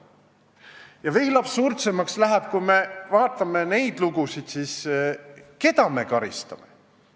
Ja veel absurdsemaks läheb, kui me vaatame seda, keda ma karistame.